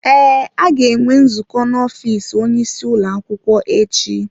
Ee, a ga-enwe nzukọ n'ofiisi onye isi ụlọ akwụkwọ echi.